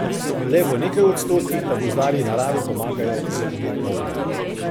Le v nekaj odstotkih pa gozdarji naravi pomagajo z umetno obnovo.